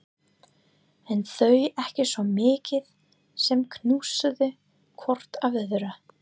En þau ekki svo mikið sem hnusuðu hvort af öðru.